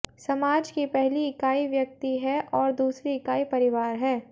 समाज की पहली इकाई व्यक्ति है और दूसरी इकाई परिवार है